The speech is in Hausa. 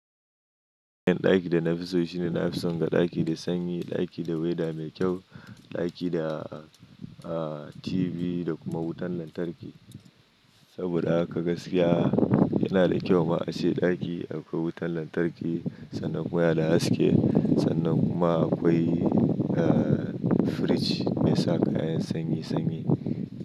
Ɗakin da na fi so shine nafi so ga ɗaki da sanyi, ɗaki da weather mai kyau, ɗaki da, ah, TV da kuma wutan lantarki. Saboda haka gaskiya yana da kyau ma a ce ɗaki akwai wutan lantarki sannan waya da haske sannan kuma akwai, ah, firij mai sa kayan sanyi sanyi.